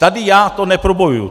Tady já to neprobojuju.